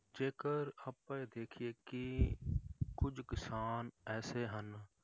ਜੇਕਰ ਆਪਾਂ ਇਹ ਦੇਖੀਏ ਕਿ ਕੁੱਝ ਕਿਸਾਨ ਐਸੇ ਹਨ,